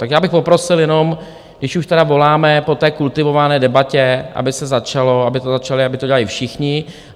Tak já bych poprosil jenom, když už tedy voláme po té kultivované debatě, aby se začalo, aby to začali, aby to dělali všichni.